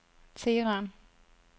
Teheran